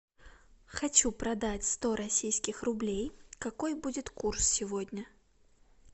хочу продать сто российских рублей какой будет курс сегодня